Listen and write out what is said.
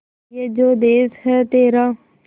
ये जो देस है तेरा